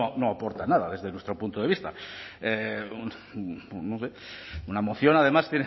no aporta nada desde nuestro punto de vista una moción además